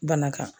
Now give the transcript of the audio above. Bana kan